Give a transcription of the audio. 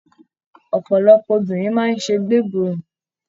Ọpọlọpọ obìnrin máa n sé gbeborun.